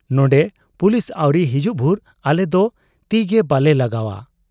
ᱱᱚᱱᱰᱮ ᱯᱩᱞᱤᱥ ᱟᱹᱣᱨᱤ ᱦᱤᱡᱩᱜ ᱵᱷᱩᱨ ᱟᱞᱮᱫᱚ ᱛᱤᱜᱮ ᱵᱟᱞᱮ ᱞᱟᱜᱟᱣ ᱟ ᱾